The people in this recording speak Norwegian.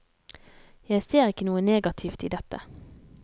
Jeg ser ikke noe negativt i dette.